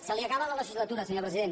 se li acaba la legislatura senyor president